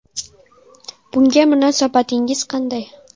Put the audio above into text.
Bunga munosabatingiz qanday?